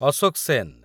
Ashok Sen